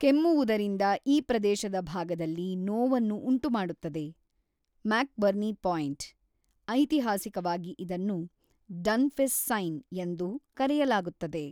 ಕೆಮ್ಮುವುದರಿಂದ ಈ ಪ್ರದೇಶದ ಭಾಗದಲ್ಲಿ ನೋವನ್ನು ಉಂಟುಮಾಡುತ್ತದೆ (ಮ್ಯಾಕ್ಬರ್ನಿ ಪಾಯಿಂಟ್), ಐತಿಹಾಸಿಕವಾಗಿ ಇದನ್ನು ಡನ್ಫಿಸ್ ಸೈನ್ ಎಂದು ಕರೆಯಲಾಗುತ್ತದೆ.